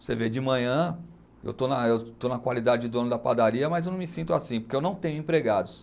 Você vê, de manhã, eu estou na, eu estou na qualidade de dono da padaria, mas eu não me sinto assim, porque eu não tenho empregados.